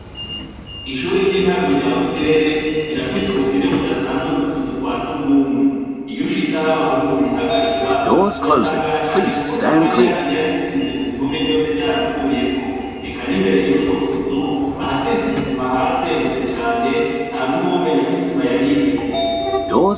Ishure ry'intango rya Buterere, rirafise ubukene budasanzwe ry'utuzu twa sugumwe, iyo ushitse aho abahungu bihagarika uratangara cane kuko usanga n'irangi ryari risize ku mpome ryose ryaravuyeko, eka n'imbere yutwo tuzu ahasize isima haraserutse cane ntanuwomenya ko isima yahigeze.